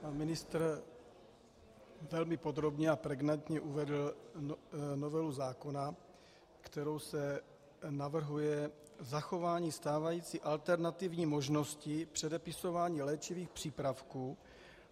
Pan ministr velmi podrobně a pregnantně uvedl novelu zákona, kterou se navrhuje zachování stávající alternativní možnosti předepisování léčivých přípravků.